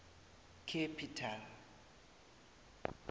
capital